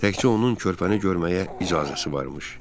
Təkcə onun körpəni görməyə icazəsi varmış.